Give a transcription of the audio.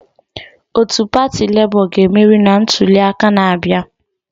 Otu pati Lebo ga-emeri na ntuliaka na-abịa.